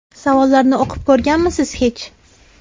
Savollarni o‘qib ko‘rganmisiz hech?